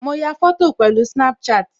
Mo ya fọ́tò pẹ̀lú Snapchat